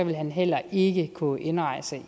vil han heller ikke kunne indrejse